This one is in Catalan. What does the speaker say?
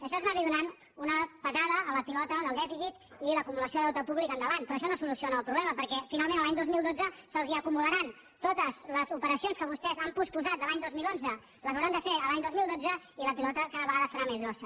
això és anar·li do·nant una patada a la pilota del dèficit i l’acumula·ció de deute públic endavant però això no soluciona el problema perquè finalment l’any dos mil dotze se’ls acu·mularan totes les operacions que vostès han posposat de l’any dos mil onze les hauran de fer l’any dos mil dotze i la pilota cada vegada serà més gran